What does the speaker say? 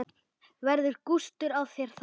Verður gustur á þér þar?